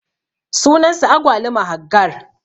sunan sa agwaluma Haggar.